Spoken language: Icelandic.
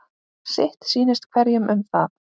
Sitt sýnist hverjum um það.